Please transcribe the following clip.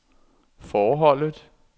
forholdet